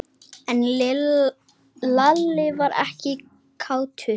En Lalli var ekkert kátur.